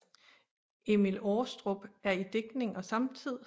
Emil Aarestrup i digtning og samtid